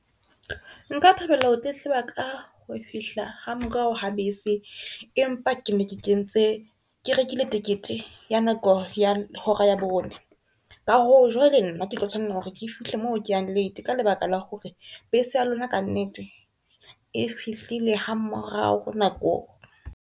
Nka thabela ho tletleba ka ho fihla ha morao ha bese. Empa ke ne ke kentse, ke rekile tekete ya nako ya hora ya bone. Ka hoo jwale nna ke tlo tshwanela hore ke fihle moo ke yang late ka lebaka la hore bese ya lona ka nnete e fihlile ha morao nakong.